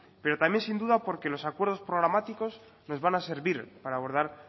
pero también sin duda porque los acuerdos programáticos nos van a servir para abordar